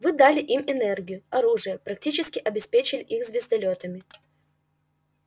вы дали им энергию оружие практически обеспечили их звездолётами